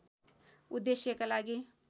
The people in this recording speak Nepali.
उद्देश्यका लागि